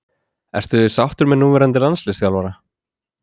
Ertu sáttur með núverandi landsliðsþjálfara?